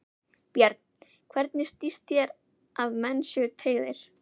Björn: Hvernig sýnist þér að menn séu tryggðir?